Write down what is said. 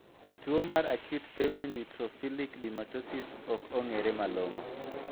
Tuo mar acute febrile neutrophilic dermatosis ok ong'ere malong'o.